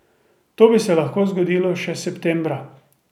To bi se lahko zgodilo še septembra.